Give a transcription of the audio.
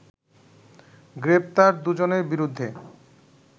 গ্রেপ্তার দুজনের বিরুদ্ধে